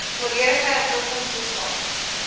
volledige inkomstestaat